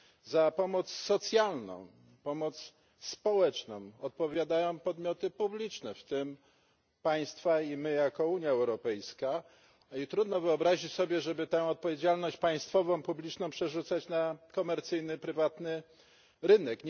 Za pomoc socjalną, pomoc społeczną odpowiadają podmioty publiczne, w tym państwa i my jako Unia Europejska, i trudno wyobrazić sobie, żeby tę odpowiedzialność państwową, publiczną przerzucać na komercyjny, prywatny rynek.